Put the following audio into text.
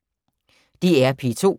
DR P2